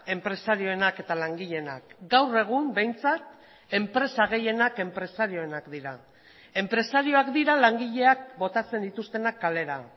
enpresarienak eta langileenak gaur egun behintzat enpresa gehienak enpresarienak dira enpresariak dira langileak botatzen dituztenak kalera